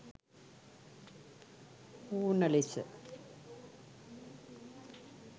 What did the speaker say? ඌණ ලෙස